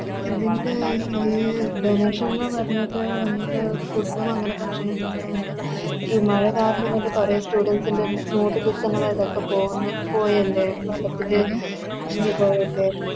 ഇതിൻറെ ഈ Donation ന്ന് പറഞ്ഞിട്ട് വന്നിട്ട് Food ഉം അങ്ങനെ ഭക്ഷണങ്ങള് And മഴ കാരണം എന്നിട്ട് കൊറേ Students ൻറെ Note book കള് ഒക്കെ ഇതൊക്കെ പോവുന്നെ പോയെന്നെ